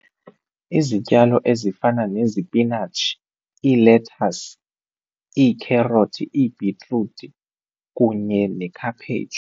Izityalo ezifana nezipinatshi, iilethasi, iikherothi, iibhitruthi kunye nekhaphetshu.